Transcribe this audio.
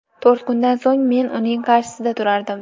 To‘rt kundan so‘ng men uning qarshisida turardim.